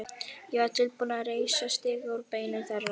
Ég var tilbúinn að reisa stiga úr beinum þeirra.